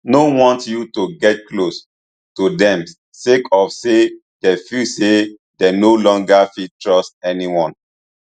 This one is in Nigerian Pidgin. no want you to get close to dem sake of say dey feel say dey no longer fit trust anyone